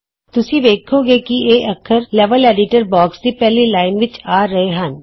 ਤੁਸੀਂ ਵੇੱਖੋਂਗੇ ਕਿ ਇਹ ਅੱਖਰ ਲੈਵਲ ਐਡੀਟਰ ਬੌਕਸ ਦੀ ਪਹਿਲੀ ਲਾਈਨ ਵਿਚ ਆ ਰਹੇ ਹਨ